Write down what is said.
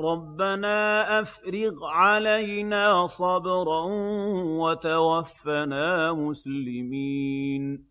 رَبَّنَا أَفْرِغْ عَلَيْنَا صَبْرًا وَتَوَفَّنَا مُسْلِمِينَ